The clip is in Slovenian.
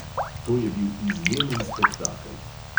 To je bil izjemen spektakel.